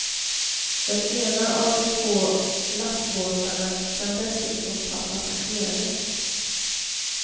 Den ena av de två lastbåtarna kan dessutom ta passagerare.